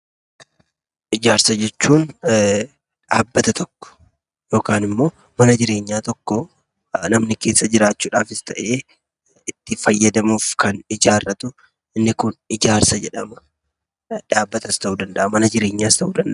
Ijaarsa jechuun dhabbata tokko yookaan immoo manaa jireenya tokko namni keessa jirachuudhaaf ta'ee itti faayadamuudha kan ijaaratu inni kun ijaarsa jeedhama. Dhabbataas ta'u danda'a manaa jireenyaas ta'u danda'a.